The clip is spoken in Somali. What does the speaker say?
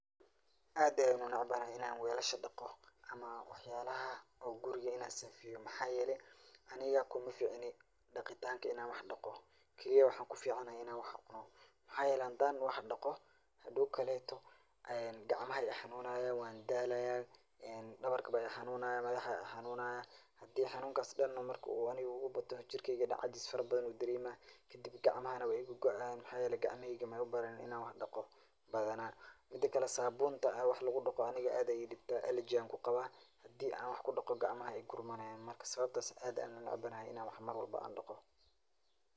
Aad Aya unacbanahay Ina weelashan daqooh camal amah waxayalaha o guuri Ina sifeyoh waxayeelay Anika kumaficni daqetanga Ina wax daqo Kali waxan kuficanahay in wax cuunoh waxayeelay handa wax daqtoh , duuqkalitoh kacmaha Aya I xanunayan wandalaya ee dawarka Aya I xanunaya madaxa Aya I xanunaya handi xanunkas marka dhan oo Anika ugubatoh jergeyga cajis farabathan ayu dareemah kadib kacmaha way igagoi donah mxaeyalay kacmaheeyga may u baran Ina wax daqtoh bathana midakali sabun da wax lagudaqoh Anika aad Aya e dibtah alargy Aya ku Qabah, handiban waxa kudaqoh kacmaha aya igu marayen markasto. Sawabta aad Aya u macanaha marwalbo AA daqtoh.